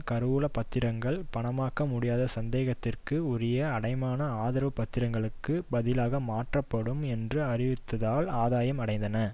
கருவூல பத்திரங்கள் பணமாக்கமுடியாத சந்தேகத்திற்கு உரிய அடைமான ஆதரவு பத்திரங்களுக்கு பதிலாக மாற்றப்படும் என்று அறிவித்ததால் ஆதாயம் அடைந்தன